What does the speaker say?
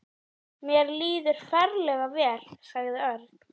Honum er auðheyrilega mikið niðri fyrir.